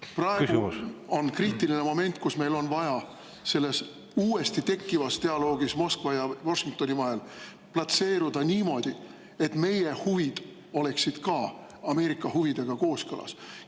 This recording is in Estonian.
Praegu on kriitiline moment, kus meil on vaja selles uuesti tekkivas dialoogis Moskva ja Washingtoni vahel platseeruda niimoodi, et meie huvid oleksid ka Ameerika huvidega kooskõlas.